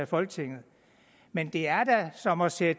folketinget men det er da som at sætte